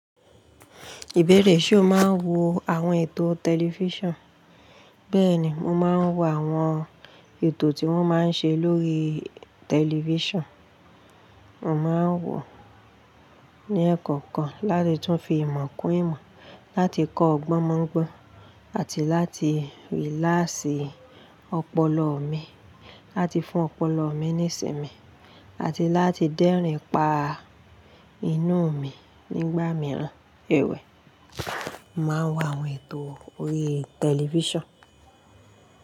Ìbéèrè ṣe o máa ń wo àwon ètò tẹlifísàn? Bẹ́ẹ̀ni, mo máa ń wo àwon ètò tí wón máa ń ṣe lórí tẹlifísàn. Mo máa ń wò ó ní ẹ́kọ́nkọ́n láti tún fi ìmọ̀ kún ìmọ̀, láti kọ́ ọgbọ́n mọ́gbọ́n àti láti rílásì ọpọlọ mi, láti fún ọpọlọ mi ní ìsinmi àti láti dẹ́rìn-ín pa inú mi nígbà mìíràn. Èwe, mo máa ń wo àwon ètò orí tẹlifísàn.